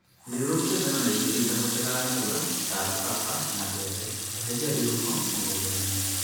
Thiũrũrũkia ngano na irio itahotekaga narua ta alfafa na mbembe. eheria irung'o mũgũndainĩ